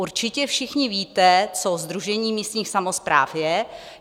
Určitě všichni víte, co Sdružení místních samospráv je.